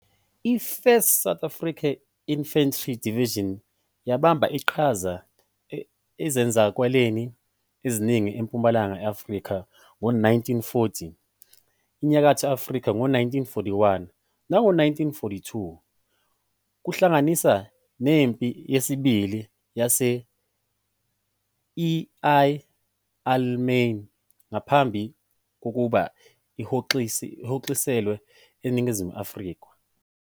I- 1st South African Infantry Division yabamba iqhaza ezenzakalweni eziningi eMpumalanga Afrika ngo-1940, eNyakatho Afrika ngo-1941 nango-1942, kuhlanganisa neMpi Yesibili yase-El Alamein, ngaphambi kokuba ihoxiselwe eNingizimu Afrika.